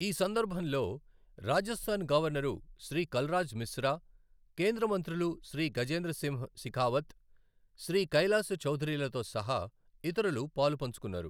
ఈ సందర్భంలో రాజస్థాన్ గవర్నరు శ్రీ కల్రాజ్ మిశ్ర, కేంద్ర మంత్రులు శ్రీ గజేంద్ర సింహ్ శెఖావత్, శ్రీ కైలాస్ చౌదరీలతో సహా ఇతరులు పాలుపంచుకొన్నారు.